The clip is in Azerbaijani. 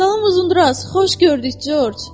Salam Uzundraz, xoş gördük Corc.